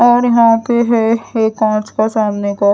और यहाँ पे है है कांच सामने का।